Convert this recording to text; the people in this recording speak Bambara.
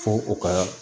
Fo u ka